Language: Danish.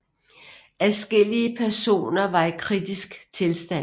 Adskillige personer var i kritisk tilstand